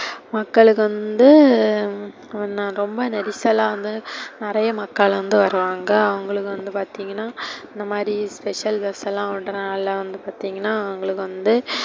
மக்களுக்கு வந்து ரொம்ப நெரிசலா வந்து நெறைய மக்கள் வந்து வருவாங்க. அவங்களுக்கு வந்து பாத்திங்கனா இந்தமாரி special bus லாம் விடுறதுனால வந்து பாத்திங்கனா அவங்களுக்கு வந்து,